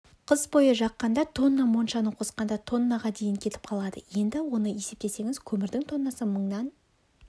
қыс бойы жаққанда тонна моншаны қосқанда тоннаға дейін кетіп қалады енді оны есептесеңіз көмірдің тоннасы мыңнан